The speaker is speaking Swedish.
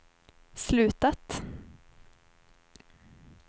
slutat